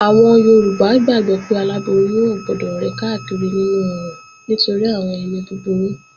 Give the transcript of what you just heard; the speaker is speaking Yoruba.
Àwọn Yorùbá gbàgbó pé aláboyún ò gbọdọ̀ rìn káàkiri nínú oòrùn nítorí àwọn èmi búburú